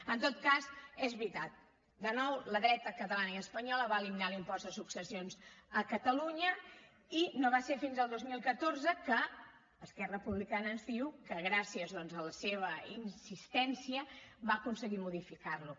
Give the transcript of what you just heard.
en tot cas és veritat de nou la dreta catalana i espanyola va eliminar l’impost de successions a catalunya i no va ser fins al dos mil catorze que esquerra republicana ens diu que gràcies doncs a la seva insistència va aconseguir modificarlo